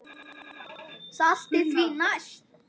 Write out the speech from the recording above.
Saltið því næst.